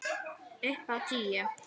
Upp á tíu!